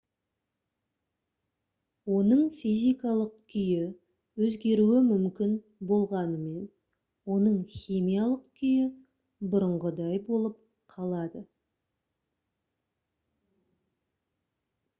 оның физикалық күйі өзгеруі мүмкін болғанымен оның химиялық күйі бұрынғыдай болып қалады